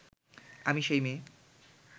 আমি সেই মেয়ে